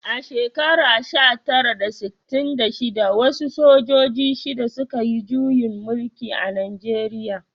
A shekarar sha tara da sittin da shida, wasu sojoji shida, suka yi juyin mulki a Najeriya